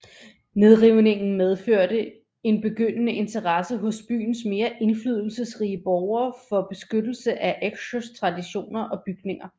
Nedrivningen medførte en begyndende interesse hos byens mere indflydelsesrige borgere for beskyttelse af Eksjös traditioner og bygninger